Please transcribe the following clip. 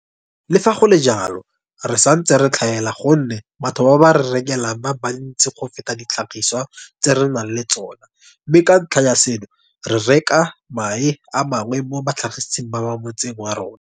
"Le fa go le jalo, re santse re tlhaela gonne batho ba ba re rekelang ba bantsi go feta ditlhagisiwa tse re nang le tsona mme ka ntlha ya seno, re reka mae a mangwe mo batlhagising ba mo motseng wa rona."